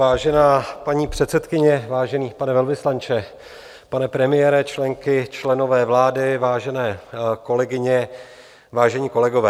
Vážená paní předsedkyně, vážený pane velvyslanče, pane premiére, členky, členové vlády, vážené kolegyně, vážení kolegové.